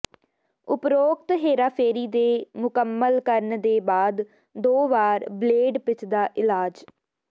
ਉਪਰੋਕਤ ਹੇਰਾਫੇਰੀ ਦੇ ਮੁਕੰਮਲ ਕਰਨ ਦੇ ਬਾਅਦ ਦੋ ਵਾਰ ਬਲੇਡ ਪਿੱਚ ਦਾ ਇਲਾਜ